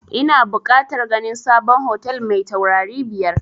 Ina bukatar ganin sabon hotel mai taurari biyar